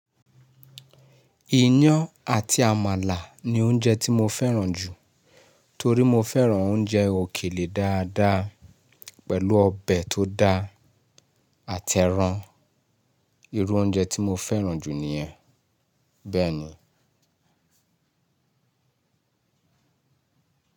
Iyán àti àmàlà ní oúnjẹ tí mo fẹ́ràn jù, torí mo fẹ́ràn oúnjẹ òkèlè dáadáa pẹ̀lú ọbẹ̀ tó dá àtẹran. Irú oúnjẹ tí mo fẹ́ràn jù nìyẹn, bẹ́ẹ̀ ni.